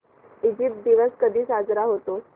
Egypt दिवस कधी साजरा होतो